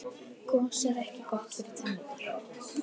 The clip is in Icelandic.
gos er ekki gott fyrir tennurnar